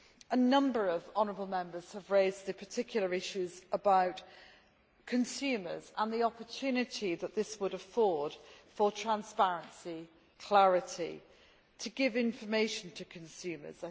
A number of honourable Members have raised the particular issues about consumers and the opportunity that this would afford for transparency and clarity to give information to consumers.